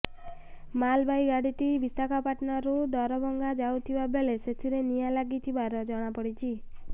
ମାଲବାହୀ ଗାଡ଼ିଟି ବିଶାଖାପାଟଣାରୁ ଦରଭଙ୍ଗା ଯାଉଥିବା ବେଳେ ସେଥିିରେ ନିଆଁ ଲାଗିଥିବା ଜଣାପଡ଼ିଛି